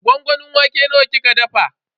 Gwangwamin wake nawa kika dafa?